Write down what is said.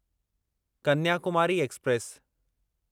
Kanyakumari express